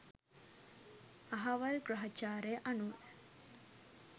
අහවල් ග්‍රහචාරය අනුව